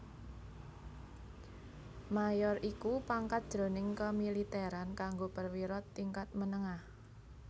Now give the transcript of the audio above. Mayor iku pangkat jroning kamilitèran kanggo perwira tingkat menengah